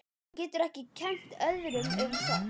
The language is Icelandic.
Hún getur ekki kennt öðrum um það.